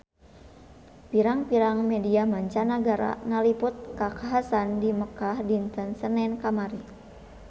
Pirang-pirang media mancanagara ngaliput kakhasan di Mekkah dinten Senen kamari